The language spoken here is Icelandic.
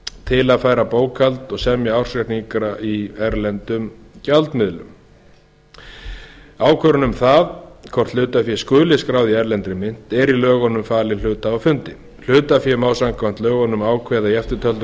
til að færa bókhald og semja ársreikninga í erlendum gjaldmiðli ákvörðun um það hvort hlutafé skuli skráð í erlendri mynt er í lögunum falin hlutahafafundi hlutafé má samkvæmt lögunum ákveða í eftirtöldum